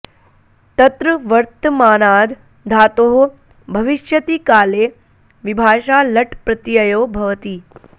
तत्र वर्तमानाद् धातोः भविष्यति काले विभाषा लट् प्रत्ययो भवति